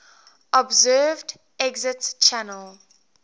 observed exit channel